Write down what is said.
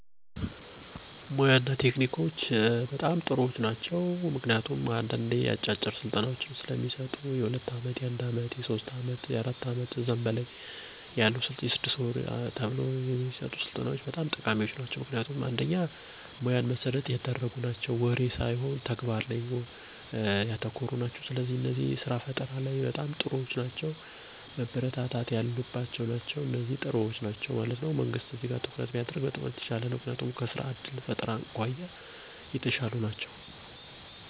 አዎ ይረዳሉ ብየ አስባለሁ በፍጥነት ወደ ስራ ለመግባት እና ጌዜን የማይሻሙ አጫጭር ስልጠናዎች በመዉሰድ በቶሎ ወደ ስራ ለመቀላቀል ጠቃሚ ናቸዉ።